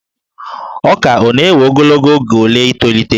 Ọka ọ na-ewe ogologo oge ole i tolite?